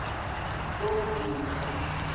sobhuza